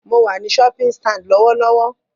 Mo wà ní shopping stand lọ́wọ́lọ́wọ́